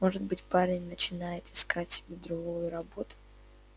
может быть парень начинает искать себе другую работу